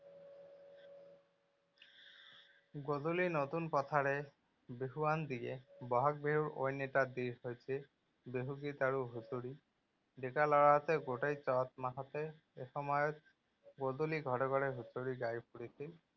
গধূলি নতুন কথাৰে বিহুৱান দিয়ে। বহাগ বিহুৰ অন্য এটা হৈছে বিহুগীত আৰু হুঁচৰি। ডেকা লৰাহঁতে গোটেই চত মাহতে এসময়ত গধূলি ঘৰে ঘৰে হুঁচৰি গাই ফুৰিছিল।